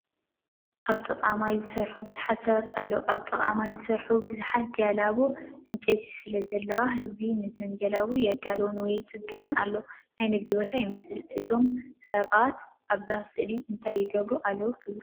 ኣብ ጥቓ ማይ ዝሰርሑ ብዙሓት ሰባት ኣለዉ። ኣብ ጥቓ ማይ ዝተሰርሓ ብዙሓት ጀላቡ ዕንጨይቲ ስለዘለዋ፡ ህዝቢ ነዘን ጀላቡ የዳልወን ወይ ይጽግና ኣሎ። ናይ ንግዲ ቦታ ይመስል። እዞም ሰባት ኣብዛ ስእሊ እንታይ ይገብሩ ኣለዉ ትብሉ?